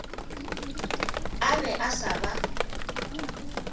a be a sa ba